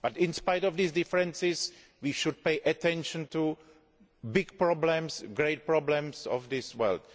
In spite of these differences, we should pay attention to big problems, the great problems of this world.